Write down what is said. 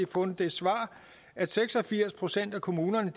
fundet det svar at seks og firs procent af kommunerne